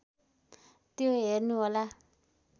त्यो हेर्नुहोला